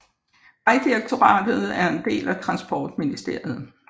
Vejdirektoratet er en del af Transportministeriet